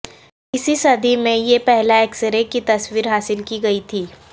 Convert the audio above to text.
اسی صدی میں یہ پہلا ایکسرے کی تصویر حاصل کی گئی تھی